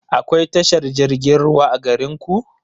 Akwai tashar jirgin ruwa a garinku?